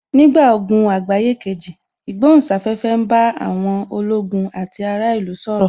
Nígbà ogun àgbáyé kejì, ìgbohùn sáfẹ́fẹ́ ń bá àwọn ológun àti ará ìlú sọ̀rọ̀